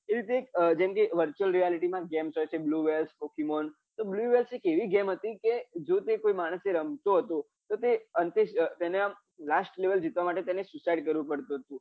એ રીતે જેમ કે virtual reality માં games હોય છે blue whales pokemon તો blue whale એ એક એવી game હતી કે જો તે કોઈ માણસ રમતો હતો કે તેને આમ last level જીતવા માટે એને suicide કરવું પડતું હતું